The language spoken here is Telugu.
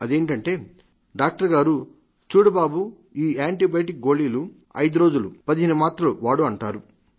అదేమిటి డాక్టర్ గారు చూడు బాబు ఈ యాంటీబయాటిక్ గోళీలు ఐదురోజులు పదిహేను మాత్రలు వాడు అంటారు